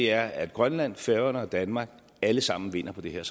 er at grønland færøerne og danmark alle sammen vinder på det her